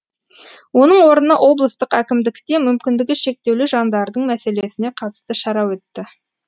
оның орнына облыстық әкімдікте мүмкіндігі шектеулі жандардың мәселесіне қатысты шара өтті